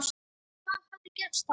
Hvað hefði gerst þá?